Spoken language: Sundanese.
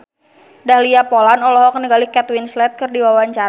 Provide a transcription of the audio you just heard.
Dahlia Poland olohok ningali Kate Winslet keur diwawancara